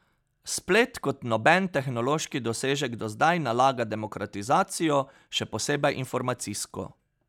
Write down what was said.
Splet kot noben tehnološki dosežek do zdaj nalaga demokratizacijo, še posebej informacijsko.